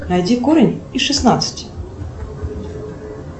найди корень из шестнадцати